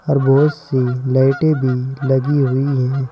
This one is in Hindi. और बहुत सी लाइटें भी लगी हुई हैं।